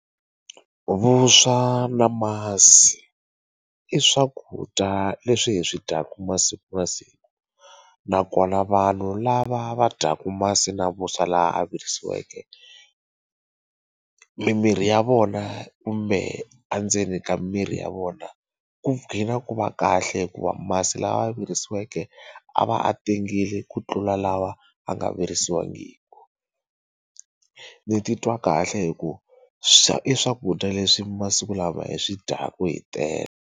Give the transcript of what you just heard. Vuswa na masi i swakudya leswi hi swi dyaka masiku na siku nakona vanhu lava va dyaka masi na vuswa lawa ya virisiweke mimirhi ya vona kumbe endzeni ka miri ya vona ku dqina ku va kahle hikuva masi lama ya virisiweke a va a tengile ku tlula lawa a nga virisiwangiki ni titwa kahle hi ku i swakudya leswi masiku lawa hi swi dyaka hi tele.